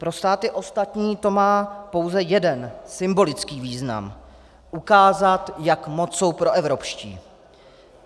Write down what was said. Pro státy ostatní to má pouze jeden symbolický význam - ukázat, jak moc jsou proevropští.